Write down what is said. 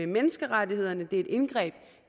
menneskerettighederne det er et indgreb